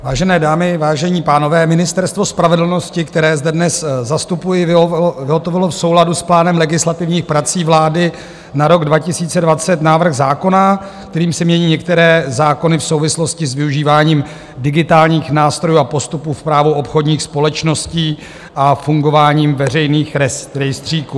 Vážené dámy, vážení pánové Ministerstvo spravedlnosti, které zde dnes zastupuji, vyhotovilo v souladu s plánem legislativních prací vlády na rok 2020 návrh zákona, kterým se mění některé zákony v souvislosti s využíváním digitálních nástrojů a postupů v právu obchodních společností a fungováním veřejných rejstříků.